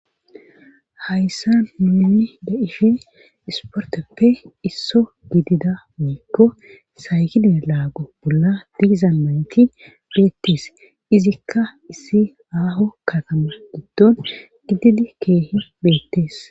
Hayssan nuni de'ishim isporteppe isso gidida woyikko saykilee laago bolla diizamanti beetees. Izikka issi aaho katama giddon gididi keehi beettees.